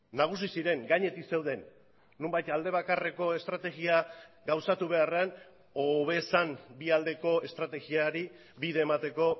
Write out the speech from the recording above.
nagusi ziren gainetik zeuden nonbait alde bakarreko estrategia gauzatu beharrean hobe zen bi aldeko estrategiari bide emateko